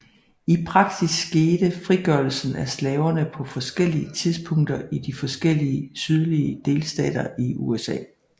I praksis skete frigørelsen af slaverne på forskellige tidspunkter i de forskellige sydlige delstater i USA